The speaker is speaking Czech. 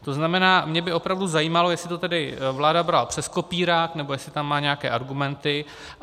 To znamená, mě by opravdu zajímalo, jestli to tedy vláda brala přes kopírák, nebo jestli tam má nějaké argumenty.